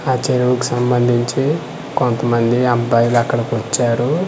అ చెరువుకు సంబందించి కొంతమంది అబ్బాయిలు అక్కడికి వచ్చారు .